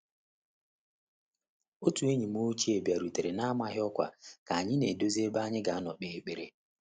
Otu enyim ochie bịarutere na-amaghị ọkwa ka anyị na-edozi ebe anyi ga nọọ kpee ekpere.